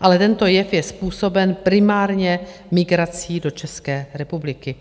ale tento jev je způsoben primárně migrací do České republiky.